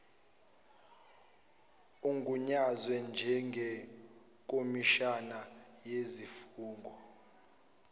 ogunyazwe njengekhomishina yezifungo